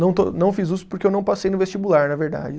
Não estou, não fiz Usp porque eu não passei no vestibular, na verdade.